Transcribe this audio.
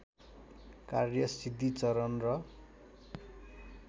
कार्य सिद्धिचरण र